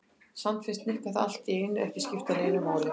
Samt fannst Nikka það allt í einu ekki skipta neinu máli.